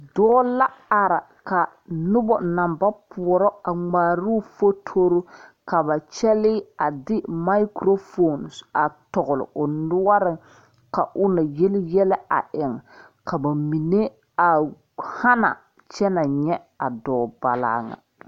Dɔɔ la are ka noba naŋ ba poɔrɔ a ŋmaaroo fotori ka ba kyɛlee a de makurofoni a.tɔgle o noɔreŋ ka o na yeli yɛlɛ a eŋ ka ba mine a hana kyɛ na nyɛ a dɔɔbalee ŋa.